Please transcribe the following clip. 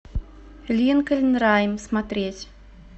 линкольн райм смотреть